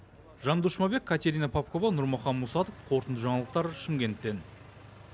жандос жұмабек катерина попкова нурмахан мусатов қорытынды жаңалықтар шымкенттен